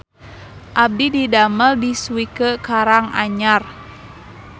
Abdi didamel di Swike Karang Anyar